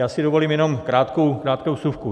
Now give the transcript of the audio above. Já si dovolím jenom krátkou vsuvku.